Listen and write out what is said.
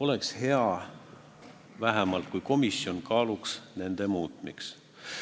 vastuvõtmist komisjon kaaluks nende muutmist.